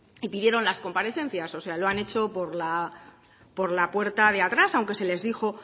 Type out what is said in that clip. y pidieron las comparecencias o sea lo han hecho por la puerta de atrás aunque se les dijo